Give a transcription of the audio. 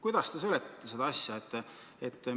Kuidas te seletate seda asja?